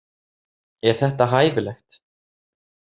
Er þetta hæfilegt?